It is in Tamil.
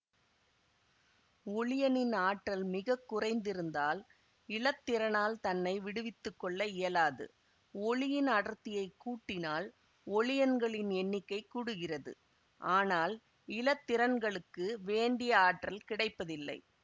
ஒளியனின் ஆற்றல் மிகக்குறைந்திருந்தால் இலத்திரனால் தன்னை விடுவித்துக்கொள்ள இயலாது ஒளியின் அடர்த்தியைக் கூட்டினால் ஒளியன்களின் எண்ணிக்கை கூடுகிறது ஆனால் இலத்திரன்களுக்கு வேண்டிய ஆற்றல் கிடைப்பதில்லை